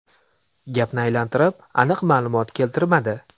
Gapni aylantirib, aniq ma’lumot keltirmadi.